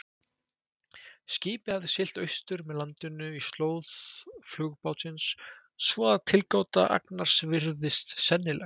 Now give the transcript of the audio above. Skipið hafði siglt austur með landinu í slóð flugbátsins, svo að tilgáta Agnars virðist sennileg.